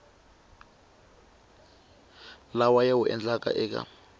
lawa ya wu endlaka eka